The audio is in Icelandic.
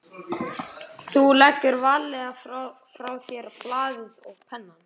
Þú leggur varlega frá þér blaðið og pennann.